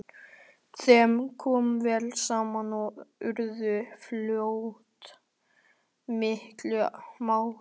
Þeim kom vel saman og urðu fljótt miklir mátar.